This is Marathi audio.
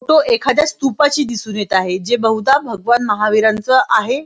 तो एखादा स्तूप दिसून येत आहे जे बुद्ध भगवान महावीर आहे.